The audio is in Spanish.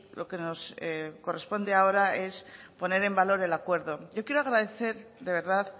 lo que nos corresponde ahora es poner en valor el acuerdo yo quiero agradecer de verdad